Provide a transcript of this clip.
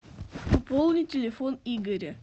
пополни телефон игоря